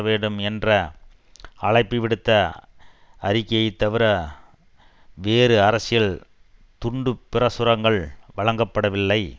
வேண்டும் என்ற அழைப்புவிடுத்த அறிக்கையை தவிர வேறு அரசியல் துண்டுப்பிரசுரங்கள் வழங்கப்படவில்லை